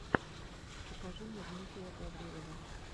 покажи мне дмитрия гаврилова